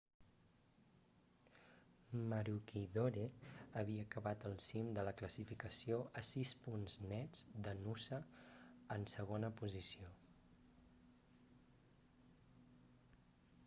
maroochydore havia acabat al cim de la classificació a sis punts nets de noosa en segona posició